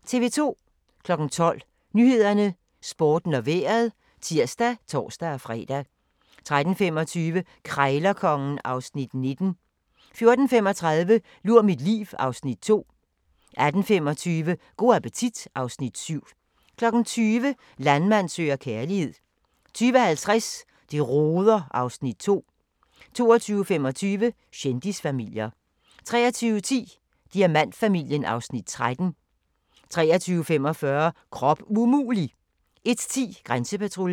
12:00: Nyhederne, Sporten og Vejret (tir og tor-fre) 13:25: Krejlerkongen (Afs. 19) 14:35: Lur mit liv (Afs. 2) 18:25: Go' appetit (Afs. 7) 20:00: Landmand søger kærlighed 20:50: Det roder (Afs. 2) 22:25: Kendisfamilier 23:10: Diamantfamilien (Afs. 13) 23:45: Krop umulig! 01:10: Grænsepatruljen